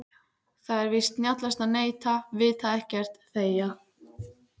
Það er víst snjallast að neita, vita ekkert, þegja.